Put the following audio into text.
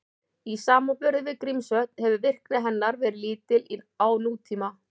Í samanburði við Grímsvötn hefur virkni hennar verið lítil á nútíma.